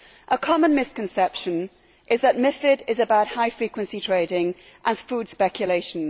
A common misconception is that MiFID is about high frequency trading and food speculation.